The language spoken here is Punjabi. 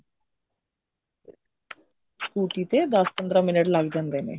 scotty ਤੇ ਦਸ ਪੰਦਰਾ ਮਿੰਟ ਲੱਗ ਜਾਂਦੇ ਨੇ